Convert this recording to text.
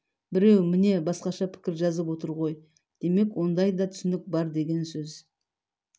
біреу міне басқаша пікір жазып отыр ғой демек ондай да түсінік бар деген сөз